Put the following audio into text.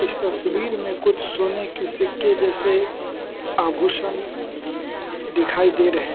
तस्वीर में कुछ सोने के सिक्के जैसे आभूषण दिखाई दे रहे हैं।